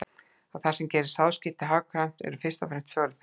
Það sem gerir sáðskipti hagkvæm eru fyrst og fremst fjórir þættir.